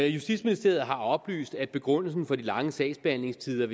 justitsministeriet har oplyst at begrundelsen for de lange sagsbehandlingstider